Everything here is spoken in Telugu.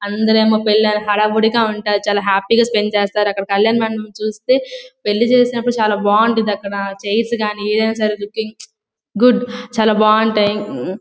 అందరేమ్మో హడావిడిగా ఉంటారు. చాలా హ్యాపీ గా స్పెండ్ చేస్తారు అక్కడ. కళ్యాణమండపం చూస్తే పెళ్లి చేసినప్పుడు చాలా బాగుంటుంది అక్కడ. చైర్స్ గాని ఏదైనా సరే లుకింగ్ గుడ్ . చాలా బాగుంటాయి.